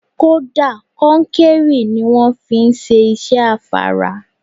Kódà, konkéré ni wón fi ń ṣe iṣẹ́ afárá.